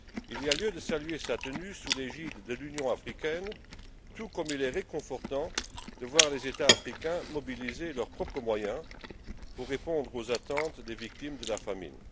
Il y a lieu de saluer sa tenue sous l'égide de l'Union africaine, tout comme il est réconfortant de voir les États africains mobiliser leurs propres moyens pour répondre aux attentes des victimes de la famine.